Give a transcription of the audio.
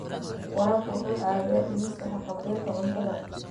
Waraabku waxa uu caawiyaa dhimista haqab-beelka cuntada.